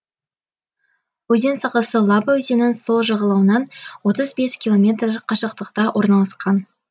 өзен сағасы лаба өзенінің сол жағалауынан отыз бес километр қашықтықта орналасқан